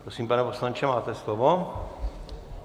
Prosím, pane poslanče, máte slovo.